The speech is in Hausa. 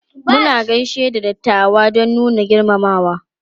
Muna gaishe da dattawa don nuna girmamawa.